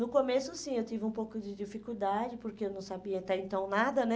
No começo, sim, eu tive um pouco de dificuldade, porque eu não sabia até então nada, né?